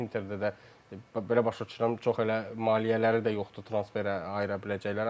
Interdə də, belə başa düşürəm, çox elə maliyyələri də yoxdur transferə ayıra biləcəkləri.